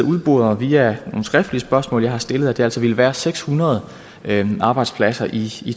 udboret via nogle skriftlige spørgsmål jeg har stillet at det altså ville være seks hundrede arbejdspladser i